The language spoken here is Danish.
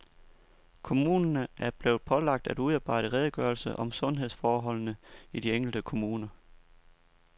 Kommunerne er blevet pålagt at udarbejde redegørelser om sundhedsforholdene i de enkelte kommuner.